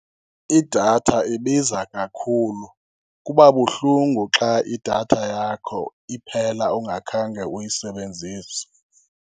Idatha ibiza kakhulu. Kubabuhlungu xa idatha yakho iphela ungakhange uyisebenzise.